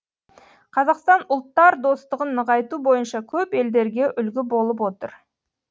қазақстан ұлттар достығын нығайту бойынша көп елдерге үлгі болып отыр